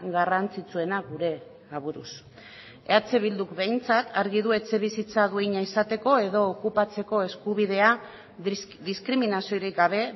garrantzitsuena gure aburuz eh bilduk behintzat argi du etxebizitza duina izateko edo okupatzeko eskubidea diskriminaziorik gabe